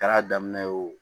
Kɛra daminɛ ye o